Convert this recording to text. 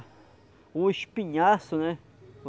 o espinhaço, né?